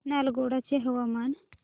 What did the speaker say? नालगोंडा चे हवामान